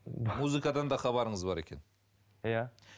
музыкадан да хабарыңыз бар екен иә